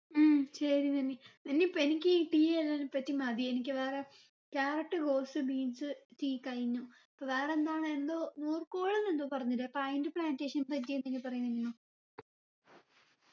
ഉം ശരി നനി നനി ഇപ്പൊ എനിക്ക് ഈ tea എന്നതിനെ പറ്റി മതി എനിക്ക് വേറെ carrot rose beens tea കഴിഞ്ഞു ഇപ്പൊ വേറെന്താണ് എന്തോ നൂർക്കോൾന്ന് എന്തോ പറഞ്ഞില്ലേ അപ്പൊ അയിൻറെ plantation എപ്പറ്റി എന്തെങ്കിലും പറയ് നനിമ്മ